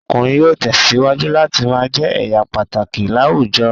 Ọkùnrin yóò tẹ̀síwájú láti ma jẹ́ èèyà pàtàkì láwùjọ